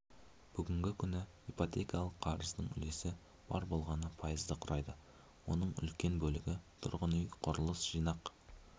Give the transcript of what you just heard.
бүгінгі күні ипотекалық қарыздың үлесі бар болғаны пайызды құрайды оның үлкен бөлігі тұрғын үй құрылыс жинақ